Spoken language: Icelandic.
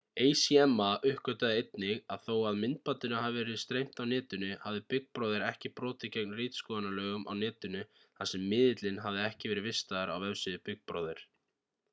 acma uppgötvaði einnig að þó að myndbandinu hafi verið streymt á netinu hafði big brother ekki brotið gegn ritskoðunarlögum á netinu þar sem miðillinn hafði ekki verið vistaður á vefsíðu big brother